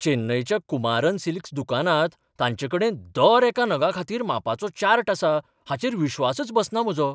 चेन्नईच्या Kumaran silks दुकानांत तांचेकडेन दर एका नगाखातीर मापाचो चार्ट आसा हाचेर विश्वासच बसना म्हजो.